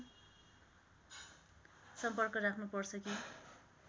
सम्पर्क राख्नु पर्छ कि